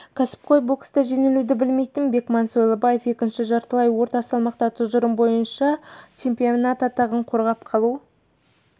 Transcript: кәсіпқой бокста жеңілуді білмейтін бекман сойлыбаев екінші жартылай орта салмақта тұжырымы бойынша чемпион атағын қорғап қалу